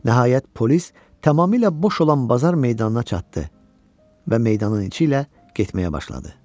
Nəhayət polis tamamilə boş olan bazar meydanına çatdı və meydanın içi ilə getməyə başladı.